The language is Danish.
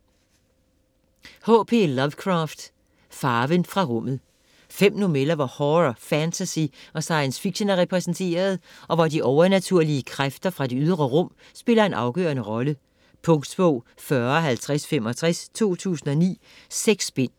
Lovecraft, H. P.: Farven fra rummet Fem noveller hvor horror, fantasy og science fiction er repræsenteret, og hvor de overnaturlige kræfter fra det ydre rum spiller en afgørende rolle. Punktbog 405065 2009. 6 bind.